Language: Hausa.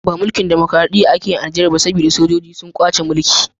Ba mulkin damakoraɗiya ake yi a Niger ba, saboda sojoji sun kwace mulki.